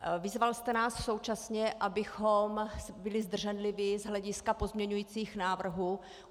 Vyzval jste nás současně, abychom byli zdrženliví z hlediska pozměňujících návrhů.